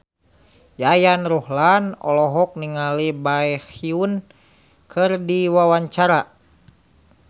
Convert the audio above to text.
Yayan Ruhlan olohok ningali Baekhyun keur diwawancara